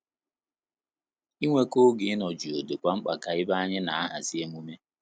Inweko oge ịnọ jụụ dịkwa mkpa ka ebe anyị na ahazi emume